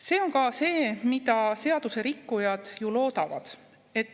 See on ka see, mida seadusrikkujad ju loodavad.